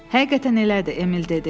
“Həqiqətən elədir,” Emil dedi.